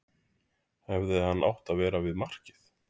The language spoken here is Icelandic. Hefði hann átt að vera við markið?